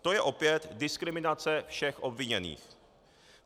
To je opět diskriminace všech obviněných.